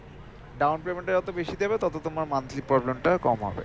down payment টা যত বেশি দেবে তত তোমার monthly problem টা কম হবে